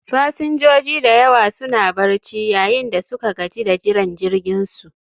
Fasinjoji da yawa suna barci, yayin da suka gaji da jiran jirginsu